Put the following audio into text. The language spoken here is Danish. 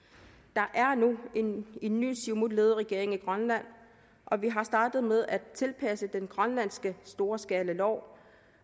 der er nu en en ny siumutledet regering i grønland og vi har startet med at tilpasse den grønlandske storskalalov